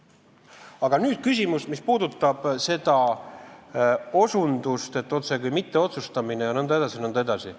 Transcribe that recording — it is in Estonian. Aga nüüd küsimus, mis puudutab seda osutust, et otsekui mitteotsustamine jne.